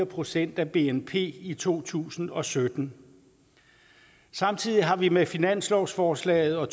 procent af bnp i to tusind og sytten samtidig har vi med finanslovsforslaget og